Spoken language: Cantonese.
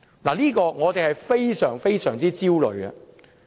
對此，我們感到非常焦慮。